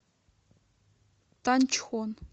танчхон